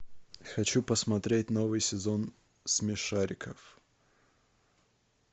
хочу посмотреть новый сезон смешариков